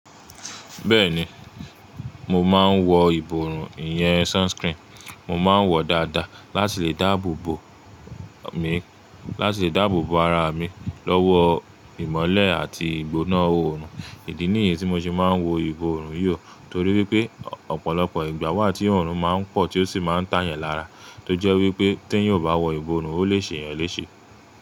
Bẹ́ẹ̀ni, mo máa ń wọ ìborùn, ìyẹn sunscreen. Mo máa ń wọ̀ dáadáa láti lè dáàbò bo mi, láti lè dáàbò bo ara mi lọ́wọ́ ìmọ́lẹ̀ àti ìgbóná òòrùn. Ìdí nìyí tí mo ṣe máa ń wọ ìborùn yió, torí wípé ọ̀pọ̀lọpọ̀ ìgbà wà tí ọ̀run máa ń pọ̀ tí ó sì máa ń tà yan lára, tó jẹ́ wípé tí ẹ ò bá wọ ìborùn, ó lè ṣe yẹn léṣe.